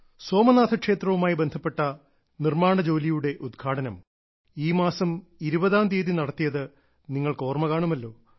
സോമനാഥ ക്ഷേത്രവുമായി ബന്ധപ്പെട്ട നിർമ്മാണ ജോലിയുടെ ഉദ്ഘാടനം ഈ മാസം ഇരുപതാം തീയതി നടത്തിയത് നിങ്ങൾക്ക് ഓർമ്മ കാണുമല്ലോ